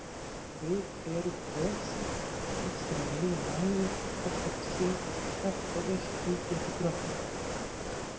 Við erum peðsendataflið sem leiðir mæður okkar til sigurs hvert og eitt ígildi drottningar.